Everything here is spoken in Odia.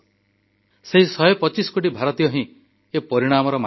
ସେହି 125 କୋଟି ଭାରତୀୟ ହିଁ ଏ ପରିଣାମର ମାଲିକ